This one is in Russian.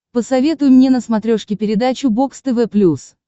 посоветуй мне на смотрешке передачу бокс тв плюс